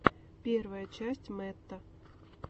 первая часть мэтта